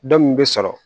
Dɔ min bɛ sɔrɔ